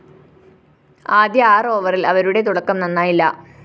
ആദ്യ ആറ് ഓവറില്‍ അവരുടെ തുടക്കം നന്നായില്ല